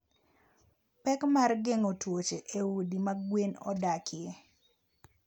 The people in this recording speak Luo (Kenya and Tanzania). Pek mar geng'o tuoche e udi ma gwen odakie.